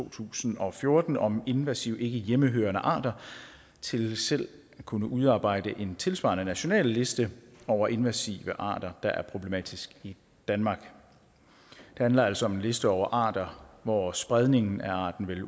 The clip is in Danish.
to tusind og fjorten om invasive ikkehjemmehørende arter til selv at kunne udarbejde en tilsvarende national liste over invasive arter der er problematiske i danmark det handler altså om en liste over arter hvor spredningen af arten vil